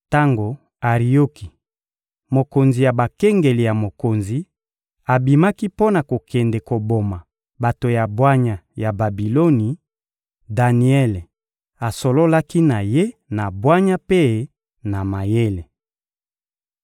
Tango Arioki, mokonzi ya bakengeli ya mokonzi, abimaki mpo na kokende koboma bato ya bwanya ya Babiloni, Daniele asololaki na ye na bwanya mpe na mayele.